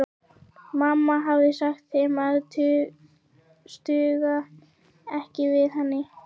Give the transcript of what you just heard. Mamma hafði sagt þeim að stugga ekki við henni.